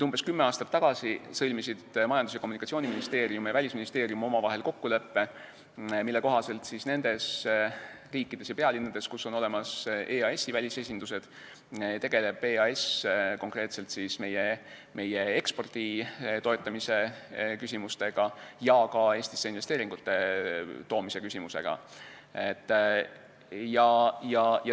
Umbes kümme aastat tagasi sõlmisid Majandus- ja Kommunikatsiooniministeerium ning Välisministeerium omavahel kokkuleppe, mille kohaselt nendes riikides ja pealinnades, kus on olemas EAS-i välisesindused, tegeleb EAS konkreetselt meie ekspordi toetamise küsimustega ja ka Eestisse investeeringute toomise küsimustega.